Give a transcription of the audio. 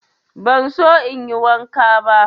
Ban so in yi wanka.